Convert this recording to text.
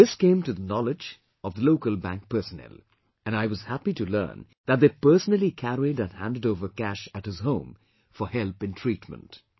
This came to the knowledge of local bank personnel, and I was happy to learn that they personally carried and handed over cash at his home, for help in treatment